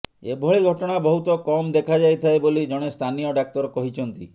ଏଭଳି ଘଟଣା ବହୁତ କମ୍ ଦେଖାଯାଇଥାଏ ବୋଲି ଜଣେ ସ୍ଥାନୀୟ ଡାକ୍ତର କହିଛନ୍ତି